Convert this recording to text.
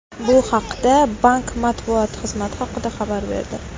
Bu haqda bank matbuot xizmati haqida xabar berdi.